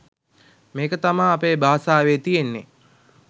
මේක තමා අපේ බාසාවේ තියෙන්නේ